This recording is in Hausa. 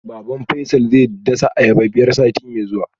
Baban Faisal zai dasa ayaba biyar sati mai zuwa